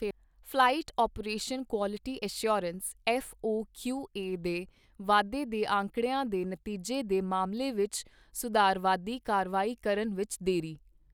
Flight operation quality assurance FOQA ਦੇ ਵਾਧੇ ਦੇ ਅੰਕੜਿਆਂ ਦੇ ਨਤੀਜੇ ਦੇ ਮਾਮਲੇ ਵਿਚ ਸੁਧਾਰਵਾਦੀ ਕਾਰਵਾਈ ਕਰਨ ਵਿਚ ਦੇਰੀ।